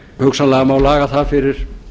hugsanlega má laga það fyrir